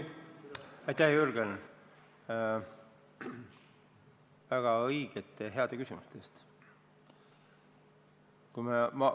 Aitäh, Jürgen, väga õigete ja heade küsimuste eest!